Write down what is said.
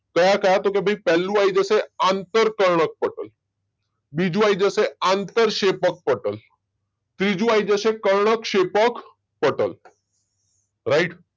કયા કયા તો ભાઈ પેહલું આવી જશે આંતરકર્ણકપટલ બીજું આવી જશે આંતરશેપક્પટલ અને ત્રીજું આવી જશે કર્ણકશેપકપટલ રાઈટ